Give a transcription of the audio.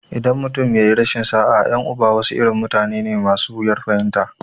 In mutum ya yi rashin sa'a, 'yan uba wasu irin mutane ne masu wuyar fahimta.